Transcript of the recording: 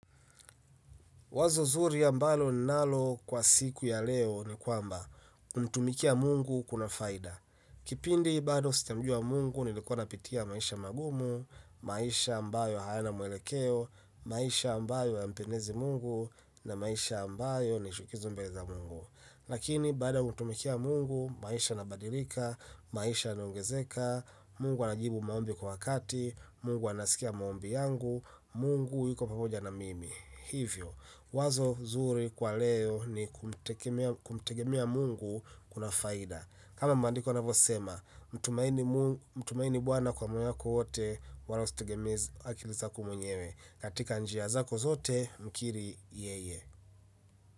Wazo zuri ambalo ninalo kwa siku ya leo ni kwamba kumtumikia Mungu kuna faida. Kipindi bado sijamjua Mungu nilikuwa napitia maisha magumu, maisha ambayo hayana mwelekeo, maisha ambayo hayampendezi Mungu na maisha ambayo ni chukizo mbele za Mungu. Lakini baada ya kumtumikia Mungu, maisha inabadilika, maisha iniongezeka, Mungu anajibu maombi kwa wakati, Mungu anasikia maombi yangu, Mungu yuko pamoja na mimi. Hivyo, wazo zuri kwa leo ni kumtegemea Mungu kuna faida. Kama maandiko yanavyosema, mtumaini bwana kwa moyo wako wote wala usitegemee akili zako mwenyewe. Katika njia zako zote, mkiri yeye.